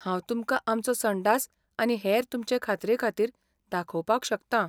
हांव तुमकां आमचो संडास आनी हेर तुमचे खात्रेखातीर दाखोवपाक शकतां.